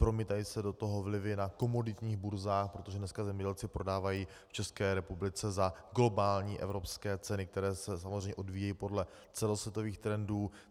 Promítají se do toho vlivy na komoditních burzách, protože dneska zemědělci prodávají v České republice za globální evropské ceny, které se samozřejmě odvíjejí podle celosvětových trendů.